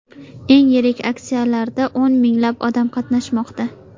Eng yirik aksiyalarda o‘n minglab odam qatnashmoqda.